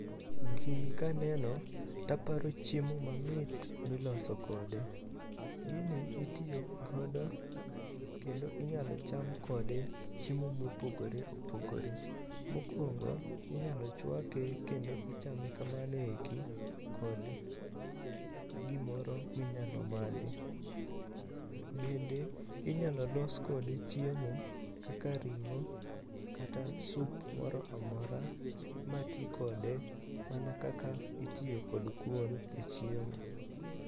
Gini kaneno taparo chiemo mamit miloso kode. Gini itiyogodo kendo inyalo cham kode chiemo mopogore opogore. Mokwongo, inyalo chwake kendo ichame kamano eki kod gimoro minyalo madhi. Bende inyalo los kode chiemo kaka ring'o kata sup moro amora ma tikode mana kaka itiyo kod kuon e chiemo.